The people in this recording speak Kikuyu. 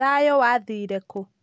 thayũ wathire kũ?